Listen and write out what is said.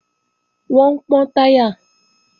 Wọ́n ń pọ́n táyà